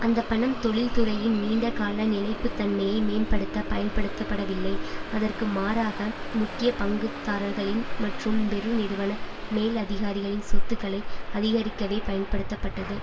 அந்த பணம் தொழில்துறையின் நீண்டகால நிலைப்புத்தன்மையை மேம்படுத்த பயன்படுத்தப்படவில்லை அதற்கு மாறாக முக்கிய பங்குதாரர்களின் மற்றும் பெருநிறுவன மேலதிகாரிகளின் சொத்துக்களை அதிகரிக்கவே பயன்படுத்தப்பட்டது